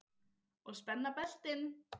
Og spenna beltin.